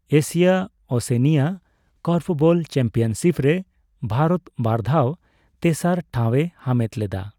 Asia-Oceania korfball championship ᱨᱮ ᱵᱷᱟᱨᱚᱛ ᱵᱟᱨᱫᱷᱟᱣ ᱛᱮᱥᱟᱨ ᱴᱷᱟᱣᱮ ᱦᱟᱢᱮᱴ ᱞᱮᱫᱟ ᱾